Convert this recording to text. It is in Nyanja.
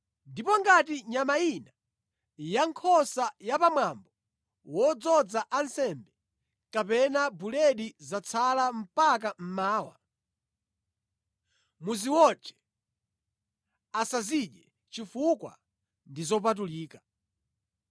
Ndipo ngati nyama ina ya nkhosa ya pamwambo wodzoza ansembe kapena buledi zatsala mpaka mmawa, muziwotche, asazidye chifukwa ndi zopatulika.